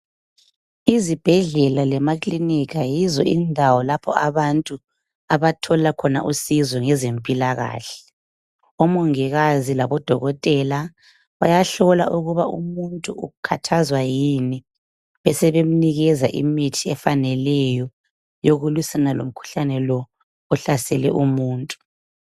Izibhedlela lemakilinika yizo indawo lapha abantu abathola khona usizo ngezempilakahle. Omongikazi labodokotela bayahlola ukuba umuntu ukhathazwa yini besebemnikeza imithi efaneleyo yokulwisana lomkhuhlane lo ohlasele umuntu.